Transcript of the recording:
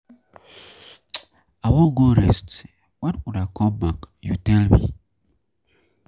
I wan go rest my head, when una come back you tell me.